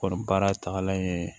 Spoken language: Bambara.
Kɔni baara tagalan ye